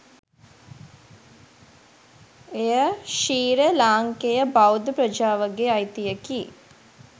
එය ශ්‍රී්‍ර ලාංකේය බෞද්ධ ප්‍රජාවගේ අයිතියකි.